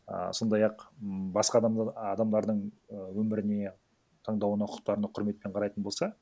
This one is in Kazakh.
а сондай ақ м басқа адамдардың і өміріне таңдауына құқықтарына құрметпен қарайтын болса